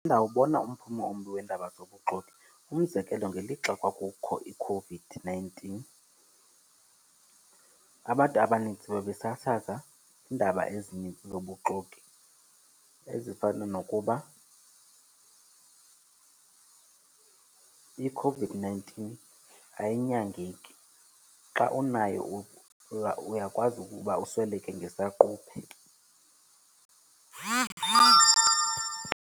Ndawubona umphumo ombi weendaba zobuxoki. Umzekelo, ngelixa kwakukho iCOVID-nineteen abantu abanintsi babesasaza iindaba ezinintsi zobuxoki ezifana nokuba iCOVID-nineteen ayinyangeki, xa unayo uyakwazi ukuba usweleke ngesaquphe.